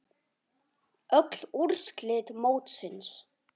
Öll úrslit mótsins